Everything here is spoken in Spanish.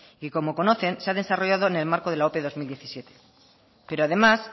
y como conocen se ha desarrollado en el marco de la ope bi mila hamazazpi pero además